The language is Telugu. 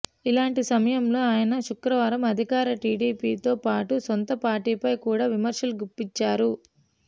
ఇలాంటి సమయంలో ఆయన శుక్రవారం అధికార టిడిపితోపాటు సొంత పార్టీపై కూడా విమర్శలు గుప్పించారు